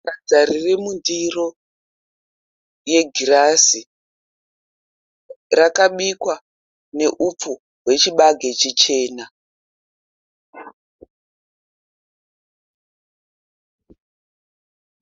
Sadza riri mundiro yegirazi. Rakabikwa neupfu hwechibage chichena.